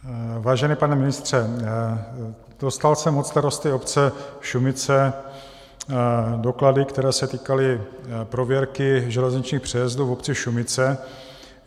Vážený pane ministře, dostal jsem od starosty obce Šumice doklady, které se týkaly prověrky železničních přejezdů v obci Šumice.